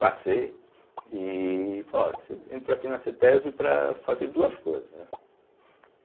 Passei e falou olha você entrou aqui na cêtésbe para fazer duas coisas, né.